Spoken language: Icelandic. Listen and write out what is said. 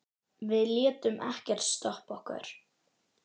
Við létum ekkert stoppa okkur.